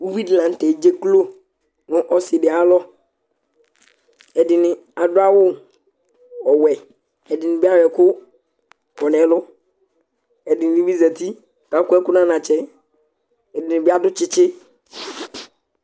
uvidi la n'tɛ edzeklo nʋ ɔsidi ayalɔ Ɛdini adʋ awʋ ɔwɛ, ɛdini bi ayɔ ɛkʋ kɔ n'ɛlʋ, ɛdini bi zati k'akɔ ɛkʋ n'anatsɛ, ɛdini bi adʋ tsitsi